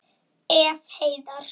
Ef. Heiðar